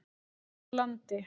Land úr landi.